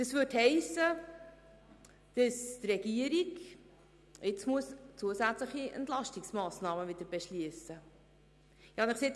Das würde bedeuten, dass die Regierung wieder zusätzliche Entlastungsmassnahmen beschliessen müsste.